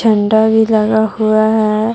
झंडा भी लगा हुआ है।